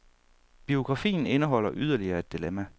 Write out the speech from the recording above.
Biografien indeholder yderligere et dilemma.